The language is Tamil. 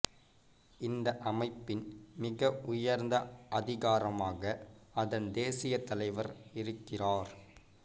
இந்த அமைப்பின் மிக உயர்ந்த அதிகாரமாக அதன் தேசிய தலைவர் இருக்கிறார்